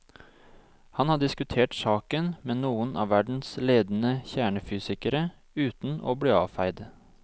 Han har diskutert saken med noen av verdens ledende kjernefysikere uten å bli avfeid.